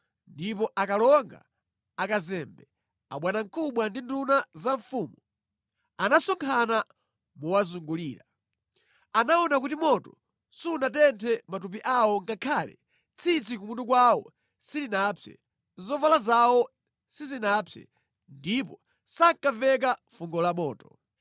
ndipo akalonga, akazembe, abwanamkubwa ndi nduna zamfumu anasonkhana mowazungulira. Anaona kuti moto sunatenthe matupi awo ngakhale tsitsi kumutu kwawo silinapse; zovala zawo sizinapse, ndipo sankamveka fungo la moto.